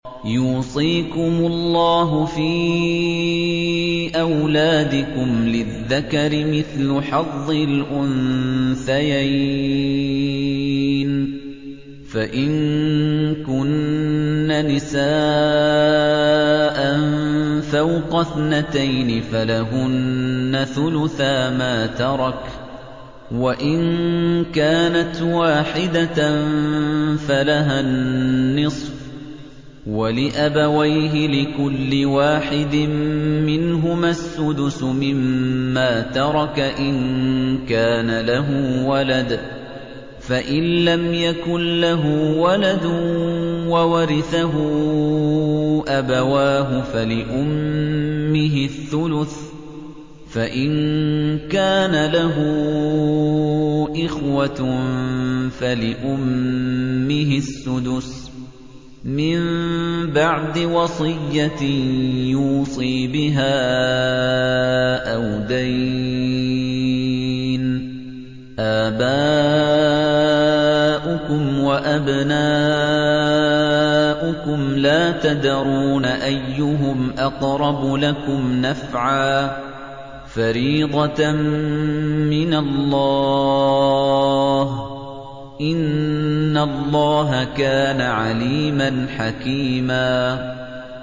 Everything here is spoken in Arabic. يُوصِيكُمُ اللَّهُ فِي أَوْلَادِكُمْ ۖ لِلذَّكَرِ مِثْلُ حَظِّ الْأُنثَيَيْنِ ۚ فَإِن كُنَّ نِسَاءً فَوْقَ اثْنَتَيْنِ فَلَهُنَّ ثُلُثَا مَا تَرَكَ ۖ وَإِن كَانَتْ وَاحِدَةً فَلَهَا النِّصْفُ ۚ وَلِأَبَوَيْهِ لِكُلِّ وَاحِدٍ مِّنْهُمَا السُّدُسُ مِمَّا تَرَكَ إِن كَانَ لَهُ وَلَدٌ ۚ فَإِن لَّمْ يَكُن لَّهُ وَلَدٌ وَوَرِثَهُ أَبَوَاهُ فَلِأُمِّهِ الثُّلُثُ ۚ فَإِن كَانَ لَهُ إِخْوَةٌ فَلِأُمِّهِ السُّدُسُ ۚ مِن بَعْدِ وَصِيَّةٍ يُوصِي بِهَا أَوْ دَيْنٍ ۗ آبَاؤُكُمْ وَأَبْنَاؤُكُمْ لَا تَدْرُونَ أَيُّهُمْ أَقْرَبُ لَكُمْ نَفْعًا ۚ فَرِيضَةً مِّنَ اللَّهِ ۗ إِنَّ اللَّهَ كَانَ عَلِيمًا حَكِيمًا